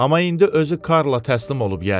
Amma indi özü Karla təslim olub yəqin.